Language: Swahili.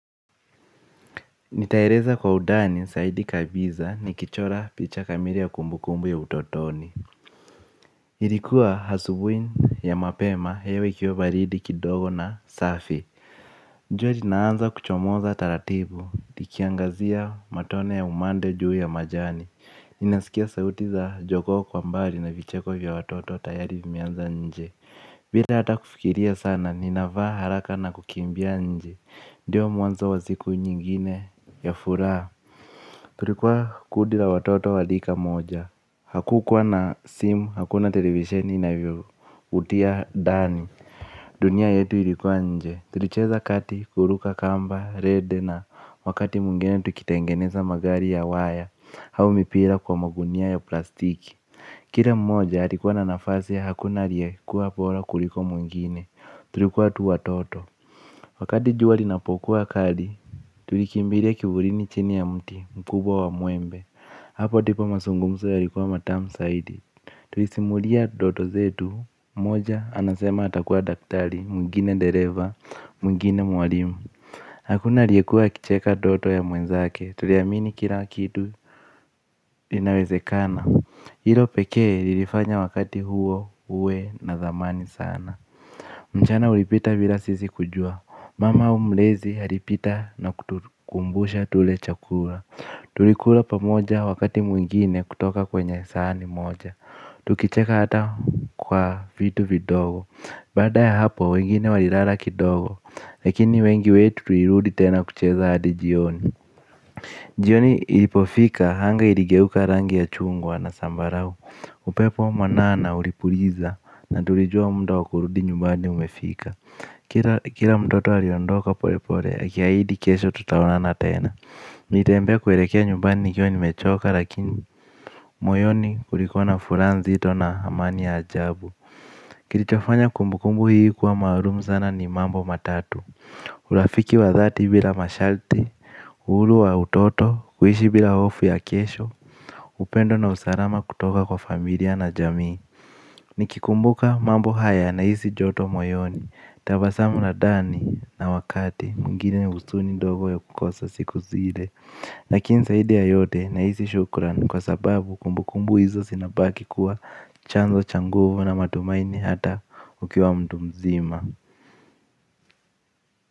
Nitaeleza kwa undani, zaidi kabisa ni kichora picha kamili ya kumbukumbu ya utotoni. Ilikuwa asubuhi ya mapema, hewa ikiwa baridi kidogo na safi. Jua linaanza kuchomoza taratibu, likiangazia matone ya umande juu ya majani. Ninasikia sauti za jogoo kwa mbali na vicheko vya watoto tayari vimianza nje. Bila hata kufikiria sana, ninavaa haraka na kukimbia nje. Ndiyo mwanzo wa siku nyingine ya furaha. Tulikuwa kundi la watoto wa rika moja. Hakukuwa na simu, hakuna television inavyo utia dani. Dunia yetu ilikuwa nje. Tulicheza kati kuruka kamba, rede na wakati mingine tukitengeneza magari ya wire au mipira kwa magunia ya plastiki. Kila mmoja alikuwa na nafasi hakuna aliyekua bora kuliko mwingine. Tulikuwa tu watoto. Wakati jua linapokuwa kali tulikumbilia kivulini chini ya mti mkubwa wa mwembe. Hapo ndipo mazungumzo yalikuwa matamu zaidi. Tulisimulia ndoto zetu. Moja anasema atakuwa daktari. Mwingine dereva. Mwingine mwalimu. Hakuna aliyekua akicheka ndoto ya mwenzake. Tuliamini kila kitu. Iinawezekana. Hilo pekee ilifanya wakati huo uwe na dhamani sana. Mchana ulipita bila sisi kujua. Mama au mlezi alipita na kutukumbusha tule chakula. Tulikula pamoja wakati mwingine kutoka kwenye sahani moja. Tukicheka hata kwa vitu vidogo. Baada ya hapo wengine walilala kidogo lakini wengi wetu tulirudi tena kucheza hadi jioni. Jioni ilipofika anga iligeuka rangi ya chungwa na sambarau. Upepo mwanana ulipuliza na tulijua muda wa kurudi nyumbani umefika. Kila mtoto aliondoka pole pole, aki ahidi kesho tutaonana tena nilitembea kuelekea nyumbani nikiwa ni mechoka lakini moyoni kulikuwa na furaha nzito na amani ya ajabu. Kilichofanya kumbukumbu hii kwa maulumu sana ni mambo matatu urafiki wa dhati bila masharti uhuru wa utoto, kuishi bila hofu ya kesho upendo na usalama kutoka kwa familia na jamii. Nikikumbuka mambo haya na hisi joto moyoni. Tabasamu la ndani na wakati mwigine ni huzuni ndogo ya kukosa siku zile lakini zaidi ya yote na hisi shukuran kwa sababu kumbu kumbu hizo zinabaki kuwa chanzo cha nguvu na matumaini hata ukiwa mtu mzima.